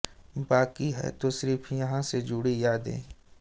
बाकी है तो सिर्फ यहां से जुड़ी यादें